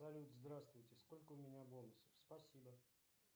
салют здравствуйте сколько у меня бонусов спасибо